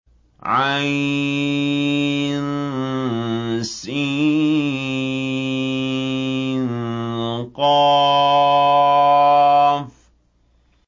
عسق